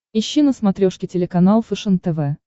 ищи на смотрешке телеканал фэшен тв